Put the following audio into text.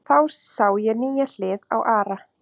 Þá sá ég nýja hlið á Ara.